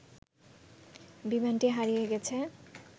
বিমানটি হারিয়ে গেছে